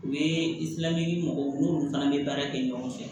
U ye i tilali mɔgɔw n'olu fana bɛ baara kɛ ɲɔgɔn fɛ